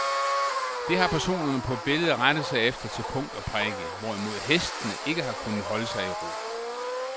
Det har personerne på billedet rettet sig efter til punkt og prikke, hvorimod hestene ikke har kunnet holde sig i ro.